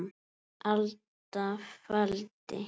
alda faldi